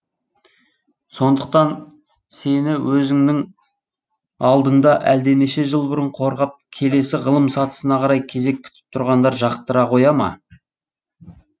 сондықтан сені өзіңнің алдыңда әлденеше жыл бұрын қорғап келесі ғылым сатысына қарай кезек күтіп тұрғандар жақтыра қоя ма